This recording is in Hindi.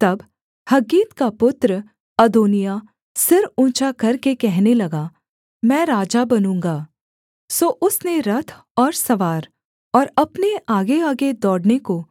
तब हग्गीत का पुत्र अदोनिय्याह सिर ऊँचा करके कहने लगा मैं राजा बनूँगा सो उसने रथ और सवार और अपने आगेआगे दौड़ने को